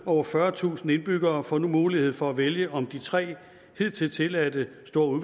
over fyrretusind indbyggere får nu mulighed for at vælge om de tre hidtil tilladte store